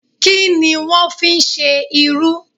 Kí ni wọ́n ń fí ṣe irú?